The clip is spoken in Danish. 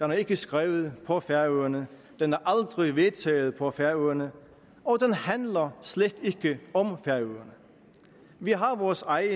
er ikke skrevet på færøerne den er aldrig vedtaget på færøerne og den handler slet ikke om færøerne vi har vores egen